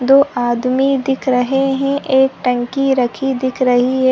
दो आदमी दिख रहे है एक टंकी रखी दिख रही है।